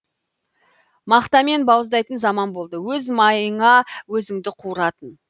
мақтамен бауыздайтын заман болды өз майыңа өзіңді қуыратын